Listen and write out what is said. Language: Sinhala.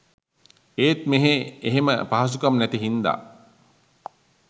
ඒත් මෙහෙ එහෙම පහසුකම් නැති හින්දා